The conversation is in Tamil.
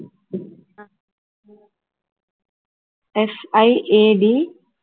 SIAD